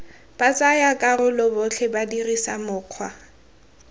batsayakarolo botlhe ba dirisa mokgwa